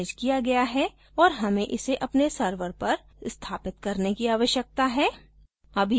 यह cron द्वारा managed किया गया है और हमें इसे अपने server पर स्थापित करने की आवश्यकता है